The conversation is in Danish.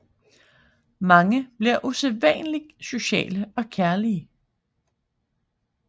Mange bliver usædvanligt sociale og kærlige